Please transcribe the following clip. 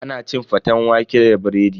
Ana cin faten waƙe da biredi.